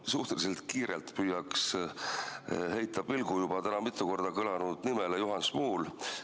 Ma suhteliselt kiirelt püüaks heita pilgu täna juba mitu korda kõlanud nimele Juhan Smuul.